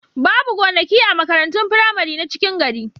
Babu gonaki a makarantun firamari na cikin gari.